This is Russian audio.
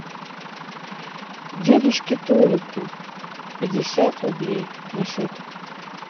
дедушке толику пятьдесят рублей на счет